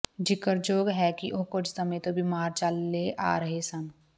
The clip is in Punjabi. ਜ਼ਿਕਰਯੋਗ ਹੈ ਕਿ ਉਹ ਕੁੱਝ ਸਮੇਂ ਤੋਂ ਬਿਮਾਰ ਚੱਲੇ ਆ ਰਹੇ ਸਨ